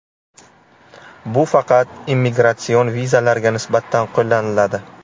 Bu faqat immigratsion vizalarga nisbatan qo‘llaniladi.